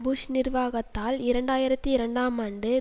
push நிர்வாகத்தால் இரண்டு ஆயிரத்தி இரண்டாம் ஆண்டு